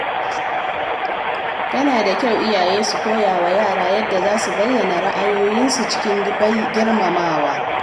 Yana da kyau iyaye su koyawa yara yadda za su bayyana ra’ayoyinsu cikin girmamawa.